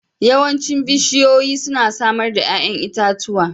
Yawancin bishiyoyi suna samar da 'ya'yan itatuwa